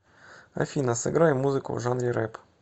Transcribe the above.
афина сыграй музыку в жанре рэп